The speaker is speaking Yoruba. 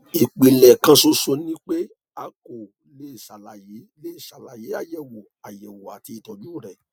ìpìlẹ kan ṣoṣo ni pé a kò lè ṣàlàyé lè ṣàlàyé àyẹwò àyẹwò àti ìtọjú rẹ